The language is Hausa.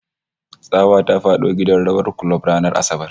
Tsawa ta fada gidan rawar kulob ranar Asabar